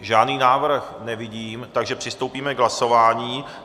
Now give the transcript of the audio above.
Žádný návrh nevidím, takže přistoupíme k hlasování.